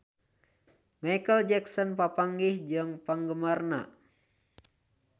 Micheal Jackson papanggih jeung penggemarna